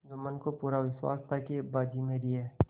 जुम्मन को पूरा विश्वास था कि अब बाजी मेरी है